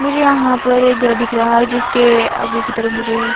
मुझे यहां पर एक घर दिख रहा है जिसके आगे की तरफ मुझे--